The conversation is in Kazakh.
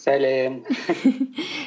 сәлем